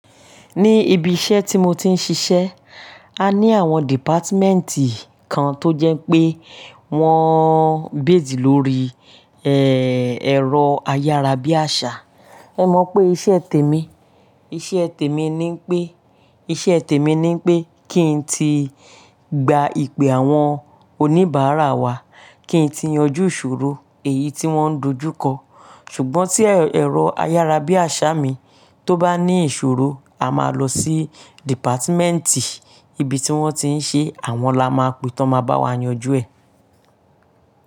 Ní ibi iṣẹ́ tí mo ti ń ṣiṣẹ́, a ní àwọn dìpátímẹ́ǹtì kan tó jẹ́ pé wọ́n ń bẹ́ẹ̀dì lórí ẹ́, ẹ̀rọ ayárabíàṣá. Ẹ̀ mọ̀ pé iṣẹ́ tèmi, iṣẹ́ tèmi ni pé, iṣẹ́ tèmi ni pé kí n ti gba ìpè àwọn oníbàárà wa, kí n ti yanjú ìṣòro èyí tí wọ́n ń dojú kọ. Ṣùgbọ́n tí ẹ̀rọ ayárabíàṣá mi tó bá ní ìṣòro, a máa lọ sí dìpátímẹ́ǹtì ibi tí wọ́n ti ń ṣe, àwọn la máa pe tó máa bá wa yanjú ẹ.